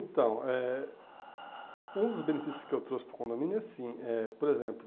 Então, eh um dos benefícios que eu trouxe para o condomínio é assim é, por exemplo,